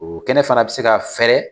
O kɛnɛ fana bi se ka fɛrɛ